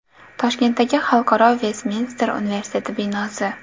Toshkentdagi xalqaro Vestminster universiteti binosi.